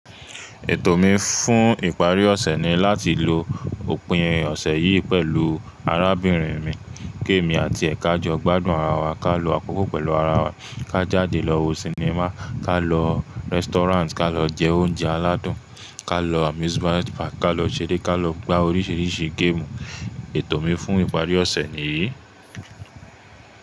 Ètò mi fún ìparí ọ̀sẹ̀ ni láti lo òpin ọ̀sẹ̀ yìí pẹ̀lú arábìnrin mi. Kí èmi àti ẹ kájọ gbádùn ara wa ká lo àkókò pẹ̀lú ara wa ká jáde lọ wo sinimá, ká lọ restaurant ká lọ jẹ oúnjẹ aládùn, ká lọ amusement park ká lọ ṣeré ká lọ gbá oríṣiríṣi géèmù. Ètò mi fún ìparí ọ̀sẹ̀ nìyí.